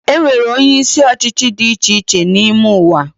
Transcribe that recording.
Enwere onyeisi ọchịchị dị icheiche n’ime ụwa